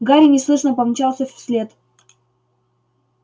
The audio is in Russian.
гарри неслышно помчался вслед